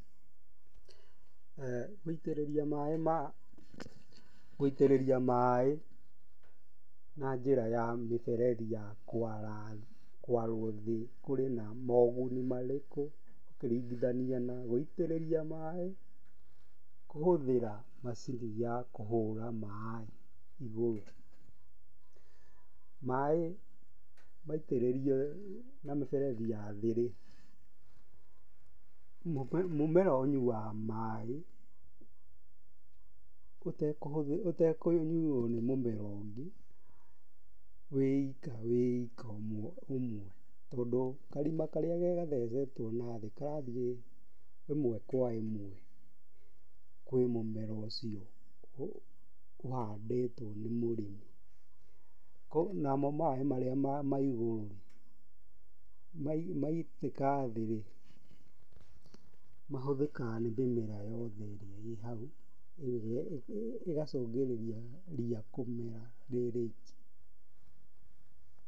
Gũitĩrĩria maaĩ na njĩra ya miberethi ya kwarwo thĩ kũri na moguni marĩkũ ũkĩringithania na gũitĩrĩria maaĩ kũhũthĩra macini ya kũhũra maaĩ igũrũ? Maĩ maitĩrĩrio na mĩberethi ya thĩ-rĩ, mũmera ũnyuaga maĩ, ũtekũnyuo nĩ mũmera ũngĩ wĩ ika wĩ ika ũmwe tondũ karima karĩa gathecetwo nathĩ karathiĩ ĩmwe kwa ĩmwe kwĩ mũmera ũcio ũhandĩtwo nĩ mũrĩmi, namo maĩ marĩa ma igũrũ-rĩ, maitĩka thĩ-rĩ, mahũthĩkaga nĩ mĩmera yothe ĩrĩa ĩ hau, ĩgacungĩrĩria ria kũmera rĩ rĩiki.